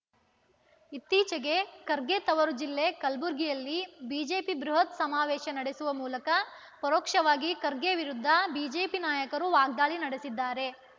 ಇತ್ತೀಚೆಗೆ ಖರ್ಗೆ ತವರು ಜಿಲ್ಲೆ ಕಲಬುರ್ಗಿಯಲ್ಲಿ ಬಿಜೆಪಿ ಬೃಹತ್ ಸಮಾವೇಶ ನಡೆಸುವ ಮೂಲಕ ಪರೋಕ್ಷವಾಗಿ ಖರ್ಗೆ ವಿರುದ್ಧ ಬಿಜೆಪಿ ನಾಯಕರು ವಾಗ್ದಾಳಿ ನಡೆಸಿದ್ದಾರೆ